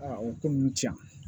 o ko ninnu cɛn